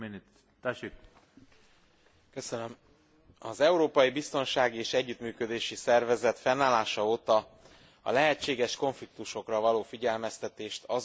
Az Európai Biztonsági és Együttműködési Szervezet fennállása óta a lehetséges konfliktusokra való figyelmeztetést, azok megelőzését tekinti elsődleges feladatának.